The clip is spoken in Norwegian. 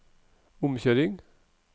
omkjøring